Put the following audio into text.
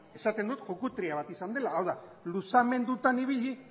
esaten dut bat izan dela hau da luzamendutan ibili